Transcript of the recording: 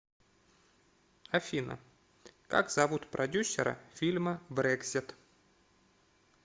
афина как зовут продюсера фильма брексит